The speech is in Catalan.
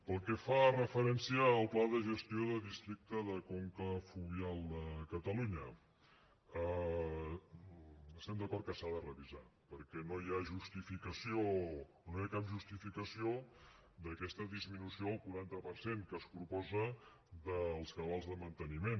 pel que fa referència al pla de gestió del districte de conca fluvial de catalunya estem d’acord que s’ha de revisar perquè no hi ha justificació no hi ha cap justificació d’aquesta disminució del quaranta per cent que es proposa dels cabals de manteniment